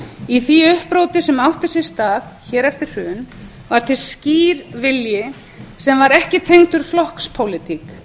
í því uppróti sem átti sér stað hér eftir hrun varð til skýr vilji sem var ekki tengdur flokkspólitík